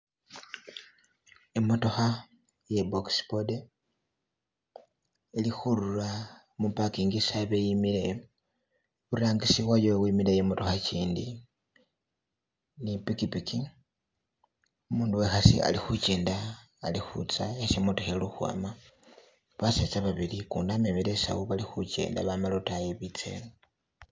Imotokha ye box body ili khurula mu parking isi habe yimile iburangisi wayo wimileyo imorokha gindi ni pikipiki umundu wekhasi ali khugenda alikhutsa hesi imotokha ili ukhwama baseza babili gundi amemele isawu bali khugenda bama lodayi khe betse eno.